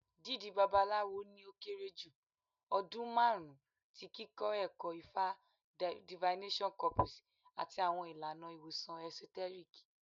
Dídí Babalawo ni o kere ju ọdun marun ti kikọ ẹkọ Ifa divination corpus ati awọn ilana iwosan esoteric.